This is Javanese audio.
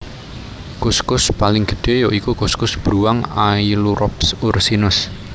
Kuskus paling gedhé ya iku kuskus bruwang Ailurops ursinus